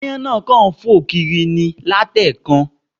Aáyán náà kàn ń fò kiri ni ní àti ẹ̀ẹ̀kan